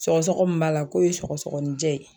Sɔgɔsɔgɔ mun b'a la k'o ye sɔgɔsɔgɔnijɛ ye.